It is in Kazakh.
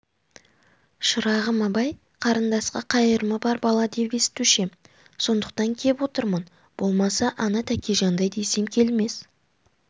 шырағым абай қарындасқа қайырымы бар бала деп естушем сондықтан кеп отырмын болмаса ана тәкежандай десем келмес